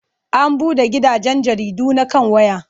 An buɗe gidajen jaridu na kan waya.